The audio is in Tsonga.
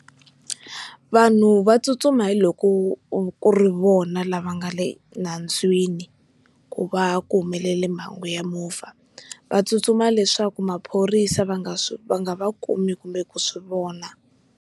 Vanhu va tsutsuma hiloko ku ri vona lava nga le nandzwini ku va ku humelele mhangu ya movha, va tsutsuma leswaku maphorisa va nga swi va nga va kumi kumbe ku swivona.